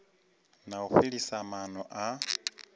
na u fhelisa maana a